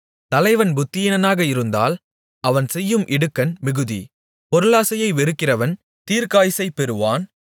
தலைவன் புத்தியீனனாக இருந்தால் அவன் செய்யும் இடுக்கண் மிகுதி பொருளாசையை வெறுக்கிறவன் தீர்க்காயுசைப் பெறுவான்